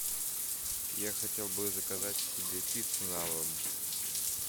я хотел бы заказать себе пиццу на дом